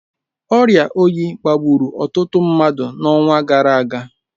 Ọrịa oyi baa gburu ọtụtụ mmadụ n’ọnwa gara aga